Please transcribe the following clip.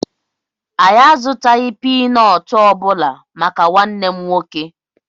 Anyị azutaghị pínọọtù obula màkà nwanne m nwoke